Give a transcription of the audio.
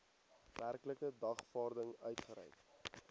werklike dagvaarding uitgereik